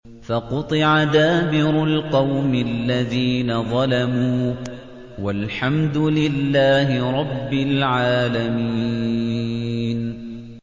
فَقُطِعَ دَابِرُ الْقَوْمِ الَّذِينَ ظَلَمُوا ۚ وَالْحَمْدُ لِلَّهِ رَبِّ الْعَالَمِينَ